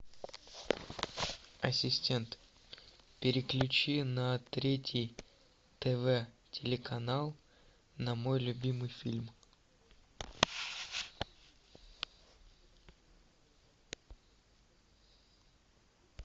ассистент переключи на третий тв телеканал на мой любимый фильм